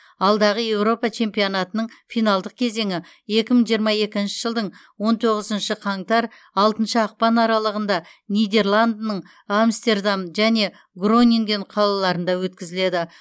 алдағы еуропа чемпионатының финалдық кезеңі екі мың жиырма екінші жылдың он тоғызыншы қаңтар алтыншы ақпан аралығында нидерландының амстердам және гронинген қалаларында өткізіледі